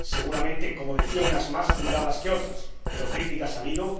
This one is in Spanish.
Seguramente, como decía, unas más fundadas que otras, pero críticas ha habido,